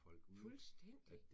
Fuldstændig!